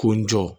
K'o n jɔ